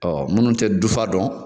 Ɔɔ munnu te dufa dɔn